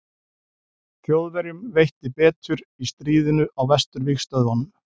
þjóðverjum veitti betur í stríðinu á vesturvígstöðvunum